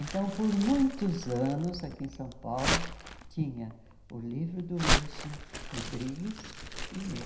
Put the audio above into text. Então, por muitos anos, aqui em São Paulo, tinha o livro do Wilson Rodrigues e o meu.